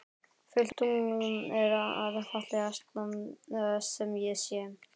Fullt tungl er það fallegasta sem ég sé.